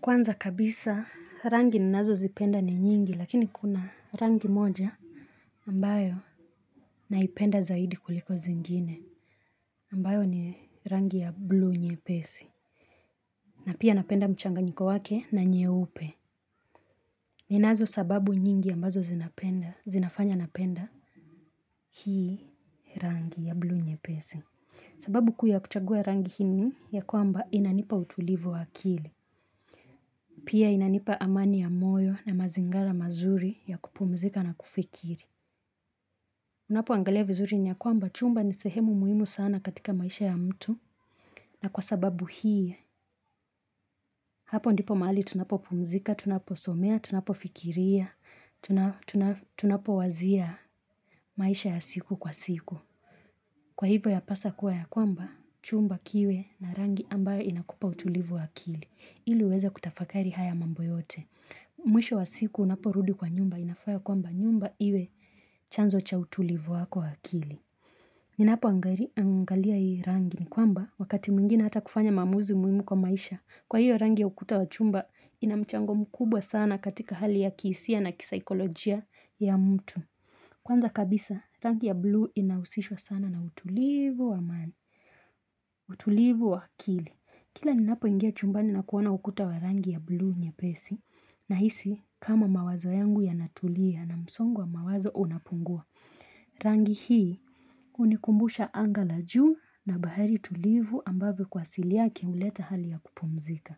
Kwanza kabisa rangi ninazo zipenda ni nyingi lakini kuna rangi moja ambayo naipenda zaidi kuliko zingine ambayo ni rangi ya blue nyepesi na pia napenda mchanga nyiko wake na nyeupe ninazo sababu nyingi ambazo zinafanya napenda hii rangi ya blue nyepesi sababu kuu yakuchagua rangi hii ni ya kwamba inanipa utulivu wa akili. Pia inanipa amani ya moyo na mazingara mazuri ya kupumzika na kufikiri. Unapo angalia vizuri niyakwamba chumba ni sehemu muhimu sana katika maisha ya mtu. Na kwa sababu hii, hapo ndipo mahali tunapo pumzika, tunapo somea, tunapo fikiria, tunapo wazia maisha ya siku kwa siku. Kwa hivyo ya pasa kuwa ya kwamba, chumba kiwe na rangi ambayo inakupa utulivu wa akili. Ili uweze kutafakari haya mambo yote. Mwisho wa siku unapo rudi kwa nyumba inafaa ya kwamba nyumba iwe chanzo cha utulivu wako wa akili. Ninapo angalia hii rangi ni kwamba wakati mwingine hata kufanya maamuzi muhimu kwa maisha. Kwa hiyo rangi ya ukuta wa chumba inamchango mkubwa sana katika hali ya kihisia na kisikolojia ya mtu. Kwanza kabisa rangi ya blue inahusishwa sana na utulivu wa amani, utulivu wa akili. Kila ni napo ingia chumbani na kuona ukuta wa rangi ya blue nyepesi na hisi kama mawazo yangu yanatulia na msongo wa mawazo unapungua. Rangi hii hunikumbusha angala juu na bahari tulivu ambavyo kwa asili yake huleta hali ya kupumzika.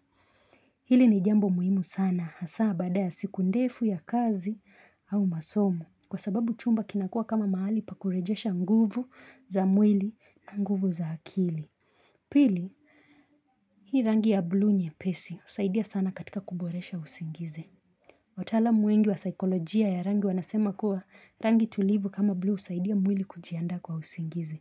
Hili ni jambo muhimu sana, hasaa baada ya siku ndefu ya kazi au masomo, kwa sababu chumba kinakua kama mahali pakurejesha nguvu za mwili na nguvu za akili. Pili, hii rangi ya blu nyepesi, husaidia sana katika kuboresha usingizi. Wataalam wengi wa sikolojia ya rangi wanasema kuwa rangi tulivu kama blu usaidia mwili kujiandaa kwa usingizi.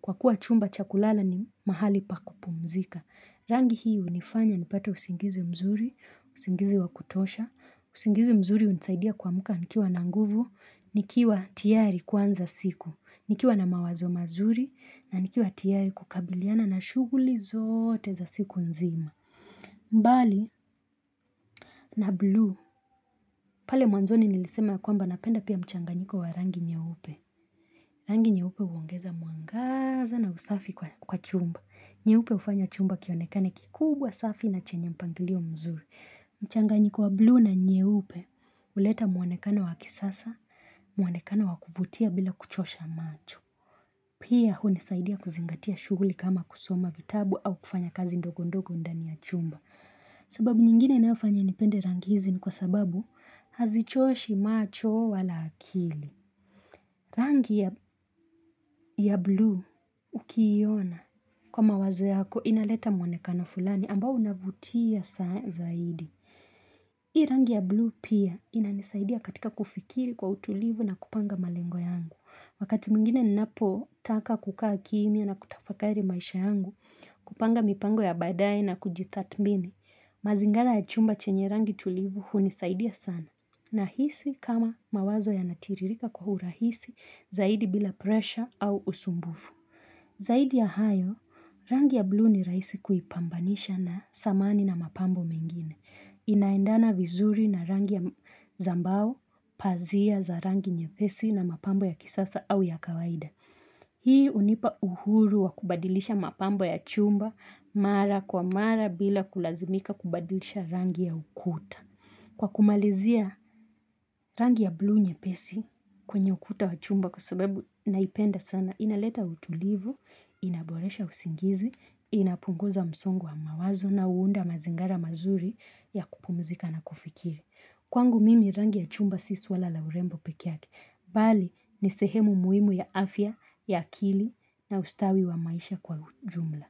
Kwa kuwa chumba chakulala ni mahali pa kupumzika. Rangi hii hunifanya nipate usingizi mzuri, usingizi wakutosha, usingizi mzuri unisaidia kuamka nikiwa na nguvu, nikiwa tiari kuanza siku, nikiwa na mawazo mazuri, na nikiwa tiari kukabiliana na shughuli zote za siku nzima. Mbali na blue pale mwanzoni nilisema ya kwamba napenda pia mchanganyiko wa rangi nyeupe Rangi nyeupe huongeza mwangaza na usafi kwa chumba. Nyeupe ufanya chumba kionekane kikubwa safi na chenye mpangilio mzuri mchanganyiko wa blue na nyeupe uleta mwonekano wakisasa mwonekano wakuvutia bila kuchosha macho Pia hunisaidia kuzingatia shughuli kama kusoma vitabu au kufanya kazi ndogo ndogo ndani ya chumba sababu nyingine inayofanya nipende rangi hizi ni kwa sababu hazichoshi macho wala akili Rangi ya blue ukiiona kwa mawazo yako inaleta mwonekana fulani ambao unavutia zaidi. Hii rangi ya blue pia inanisaidia katika kufikiri kwa utulivu na kupanga malengo yangu. Wakati mingine napo taka kukaa kimia na kutafakari maisha yangu kupanga mipango ya badaae na kujitathmini. Mazingara ya chumba chenye rangi tulivu huni saidia sana na hisi kama mawazo yanatiririka kwaurahisi zaidi bila presha au usumbufu Zaidi ya hayo, rangi ya blue ni raisi kuipambanisha na samani na mapambo mengine Inaiendana vizuri na rangi ya zambao pazia za rangi nyepesi na mapambo ya kisasa au ya kawaida Hii unipa uhuru wa kubadilisha mapambo ya chumba mara kwa mara bila kulazimika kubadilisha rangi ya ukuta. Kwa kumalizia rangi ya blu nyepesi kwenye ukuta wa chumba kwa sababu naipenda sana inaleta utulivu, inaboresha usingizi, inapunguza msongo wa mawazo na huunda mazingara mazuri ya kupumzika na kufikiri. Kwangu mimi rangi ya chumba si swala la urembo pekeyake, bali ni sehemu muhimu ya afya, ya akili na ustawi wa maisha kwa jumla.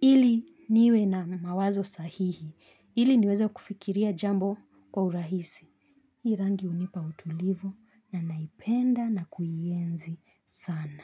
Ili niwe na mawazo sahihi, ili niweza kufikiria jambo kwa urahisi. Rangi hunipa utulivu na naipenda na kuienzi sana.